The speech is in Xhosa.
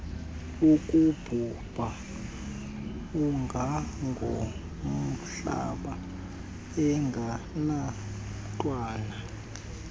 akubhubha ungangomhlaba engenamntwana